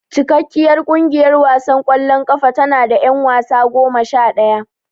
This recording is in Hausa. Cikakkiyar kungiyar wasan kwallon kafa tanada yan wasa goma shadaya.